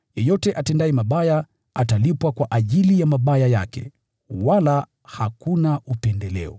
Yeyote atendaye mabaya atalipwa kwa ajili ya mabaya yake, wala hakuna upendeleo.